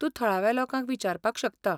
तूं थळाव्या लोकांक विचारपाक शकता.